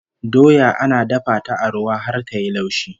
Doya ana dafa ta a ruwa har ta yi laushi